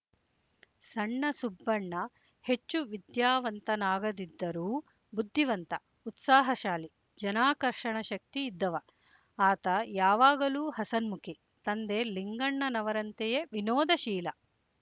ಸಣ್ಣ ಸುಬ್ಬಣ್ಣ ಹೆಚ್ಚು ವಿದ್ಯಾವಂತನಾಗದಿದ್ದರೂ ಬುದ್ಧಿವಂತ ಉತ್ಸಾಹಶಾಲಿ ಜನಾಕರ್ಷಣ ಶಕ್ತಿ ಇದ್ದವ ಆತ ಯಾವಾಗಲೂ ಹಸನ್ಮುಖಿ ತಂದೆ ಲಿಂಗಣ್ಣನವರಂತೆಯೆ ವಿನೋದಶೀಲ